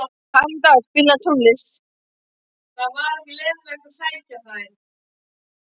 Karítas, spilaðu tónlist.